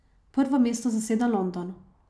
Prvo mesto zaseda London.